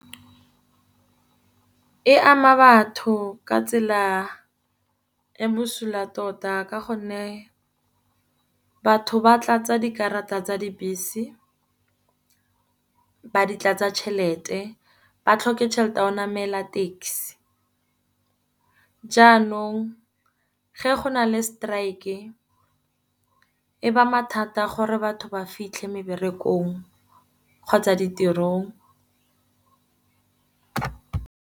E ama batho ka tsela e busula tota ka gonne batho ba tlatsa dikarata tsa dibese ba di tlatsa tšhelete. Ba tlhoke tšhelete ya go namela taxi, jaanong ge go na le strike-e e ba mathata gore batho ba fitlhe meberekong kgotsa ditirong.